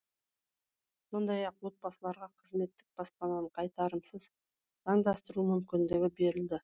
сондай ақ отбасыларға қызметтік баспананы қайтарымсыз заңдастыру мүмкіндігі берілді